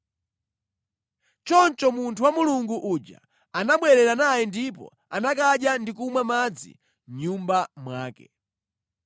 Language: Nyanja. Choncho munthu wa Mulungu uja anabwerera naye ndipo anakadya ndi kumwa madzi mʼnyumba mwake.